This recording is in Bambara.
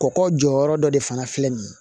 Kɔkɔ jɔyɔrɔ dɔ de fana filɛ nin ye